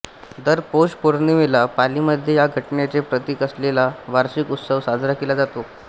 दर पौष पौर्णिमेला पालीमध्ये या घटनेचे प्रतीक असलेला वार्षिक उत्सव साजरा केला जातो